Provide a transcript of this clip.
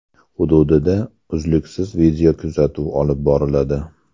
Hududda uzluksiz videokuzatuv olib boriladi.